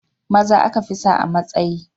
Maza aka fi sa a matsayi